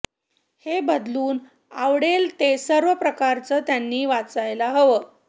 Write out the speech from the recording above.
हे बदलून आवडेल ते सर्व प्रकारचं त्यांनी वाचायला हवं